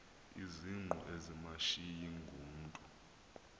izingqu ezimashiyi ngumntu